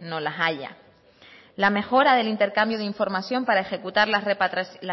no las haya la mejora del intercambio de información para ejecutar las